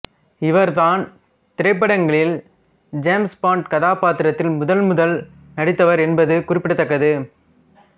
இவர்தான் திரைப்படங்களில் James Bond கதாபாத்திரத்தில் முதன்முதல் நடித்தவர் என்பது குறிப்பிடத்தக்கது